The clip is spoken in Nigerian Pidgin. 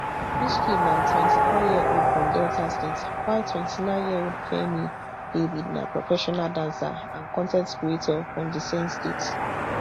michky na twenty-fouryearold from delta state while twenty-nineyearold fairme david na professional dancer and con ten t creator from di same state